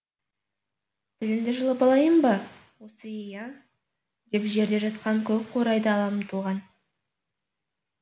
тіліңді жұлып алайын ба осы ей а деп жерде жатқан көк қурайды ала ұмтылған